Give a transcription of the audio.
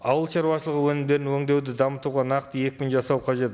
ауыл шаруашылығы өнімдерін өңдеуді дамытуға нақты екпін жасау қажет